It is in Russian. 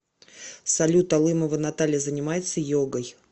салют алымова наталья занимается йогой